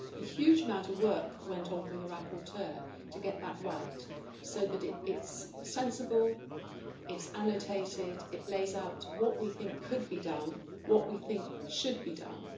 A huge amount of work went on from the rapporteur to get that right, so that it is sensible, it is annotated, it lays out what we think could be done, what we think should be done.